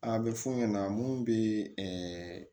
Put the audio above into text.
A bɛ f'u ɲɛna mun bɛ ɛɛ